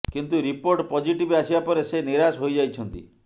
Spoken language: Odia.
କିନ୍ତୁ ରିପୋର୍ଟ ପଜିଟିଭ୍ ଆସିବା ପରେ ସେ ନିରାଶ ହୋଇଯାଇଛନ୍ତି